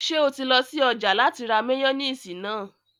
Ṣé o ti lọ sí ọjà láti ra máyóníìsì náà?